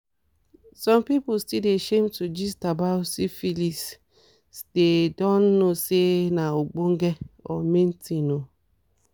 some people still dey shame to gist about syphilisthey don't know say na ogbonge or main things o